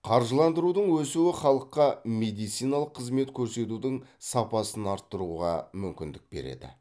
қаржыландырудың өсуі халыққа медициналық қызмет көрсетудің сапасын арттыруға мүмкіндік береді